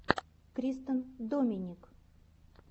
кристен доминик